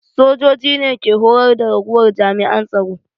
Sojoji ne ke horar da ragowar jami'an tsaro